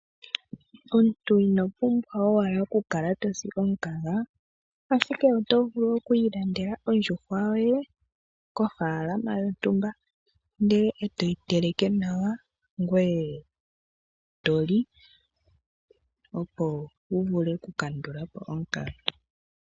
Omuntu ino pumbwa owala okukala to si omukaga, ashike oto vulu okukala wi ilandela ondjuhwa yoye kofaalama yontumba e toyi teleke nawa ngoye to li, opo wu vule okukandula po omukaga.